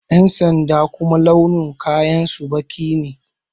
Ƴan sanda kuma launin kayan su baƙi ne